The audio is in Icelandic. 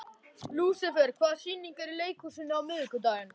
Lúsifer, hvaða sýningar eru í leikhúsinu á miðvikudaginn?